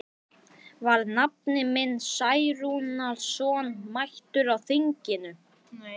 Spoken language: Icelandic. Var nafni minn Særúnarson mættur á þinginu?